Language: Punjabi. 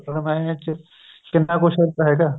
ਰਮਾਇਣ ਵਿੱਚ ਕਿੰਨਾ ਕੁੱਝ ਹੈਗਾ